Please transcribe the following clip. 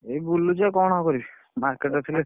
ଏଇ ବୁଲୁଚି ଆଉ କଣ କରିବି market ରେ ଥିଲି।